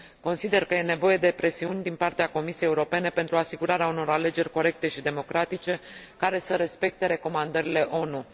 Consider că e nevoie de presiuni din partea Comisiei Europene pentru asigurarea unor alegeri corecte și democratice, care să respecte recomandările ONU.